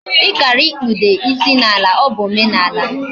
Ikaara ikpude isi na ala. O bu omenala